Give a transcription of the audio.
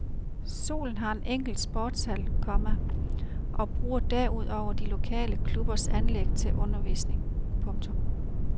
Skolen har en enkelt sportshal, komma og bruger derudover de lokale klubbers anlæg til sin undervisning. punktum